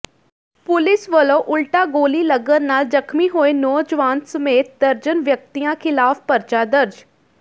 police ਵੱਲੋਂ ਉਲਟਾ ਗੋਲੀ ਲੱਗਣ ਨਾਲ ਜ਼ਖ਼ਮੀ ਹੋਏ ਨੌਜਵਾਨ ਸਮੇਤ ਦਰਜਨ ਵਿਅਕਤੀਆਂ ਿਖ਼ਲਾਫ਼ ਪਰਚਾ ਦਰਜ